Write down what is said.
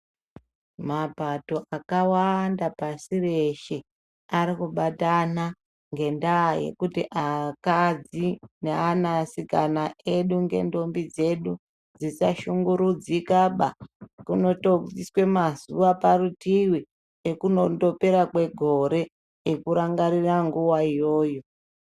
Mapato akawanda pasi reshe arikubatana ngendaa yekuti akadzi neanasikana edu nendombi dzedu dzisashungurudzikaba kunotobviswa mazuwa parutiivi ekunondopera kwegore ekurangarira nguwa iyoyo.